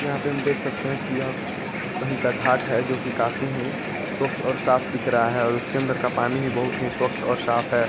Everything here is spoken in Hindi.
यहाँ पे हम देख सकते है कि यह कही का घाट है जोकि काफी ही स्वच्छ और साफ़ दिख रहा है और उसके अंदर का पानी भी बहोत ही स्वच्छ और साफ़ है।